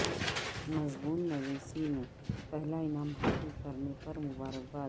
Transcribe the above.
مضمون نویسی میں پہلا انعام حاصل کرنے پر مبارکباد